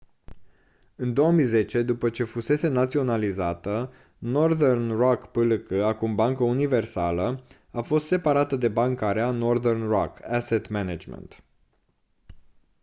în 2010 după ce fusese naționalizată northern rock plc acum bancă universală a fost separată de banca rea” northern rock asset management